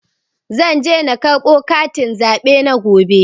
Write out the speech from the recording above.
Zan je na karɓo katin zaɓe na gobe.